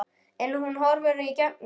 En hún horfir í gegnum mig